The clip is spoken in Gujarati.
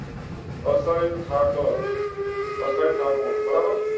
અસ્થાયી ઠાકર. અક્ષય ઠાકુર બરાબર.